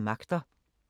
DR P2